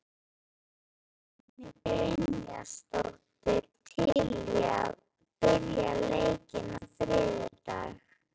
Er Dagný Brynjarsdóttir til í að byrja leikinn á þriðjudag?